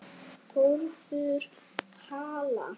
Þórður Hall.